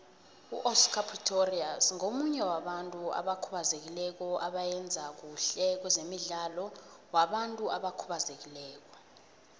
uoscar pistorius ngomunye wabantu abakhubazekileko abayenza khuhle kwezemidlalo wabantu abakhubazekileko